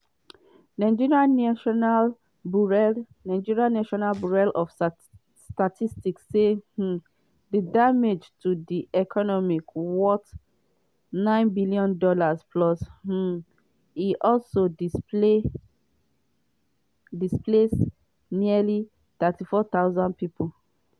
nigeria national bureau national bureau of statistics say um di damage to di economy worth $9b plus um e also displace nearly 34000 pipo.